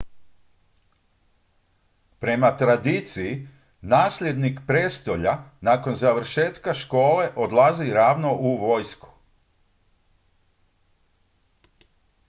prema tradiciji nasljednik prijestolja nakon završetka škole odlazi ravno u vojsku